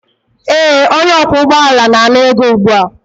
ee, onye ọkwọ ụgbọ ala na-ana ego ugbu a